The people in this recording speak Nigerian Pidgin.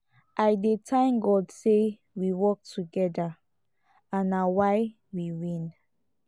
i dey thank god say we work together and na why we win